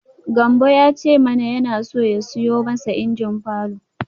Gambo ya ce mana yana so ya siyo masa injin falor.